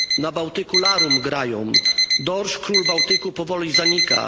Na Bałtyku larum grają, dorsz, król Bałtyku, powoli zanika.